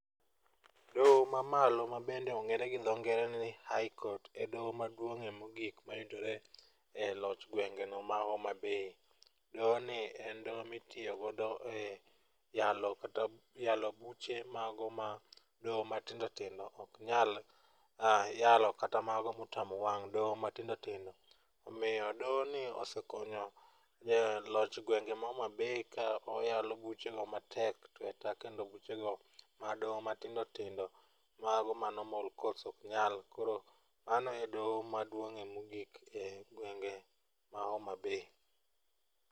Doho mamalo ma bende ong'ere gi dho ngere ni high court e doho maduong'ie mogik mayudore e loch gwenge no ma homabay .Doho ni en doho mitiyo godo e yalo kata yalo buche mago ma doho matindotindo ok nyal yalo kata mago motamo wang' doho matindo tindo. Omiyo doho ni osekonyo loch gwenge ma homabay ka oyalo buche go matek tweka kendo buche go ma doho matindotindo mago ma normal courts ok nyal. Koro mano e doho maduong'ie mogik e gwenge ma homabay.